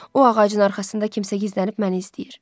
O ağacın arxasında kimsə gizlənib məni izləyir.